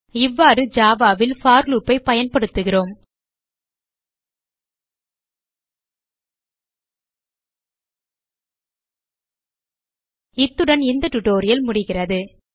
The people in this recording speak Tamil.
இவ்வாறு Java ல் போர் loop ஐ பயன்படுத்துகிறோம் இத்துடன் இந்த டியூட்டோரியல் முடிகிறது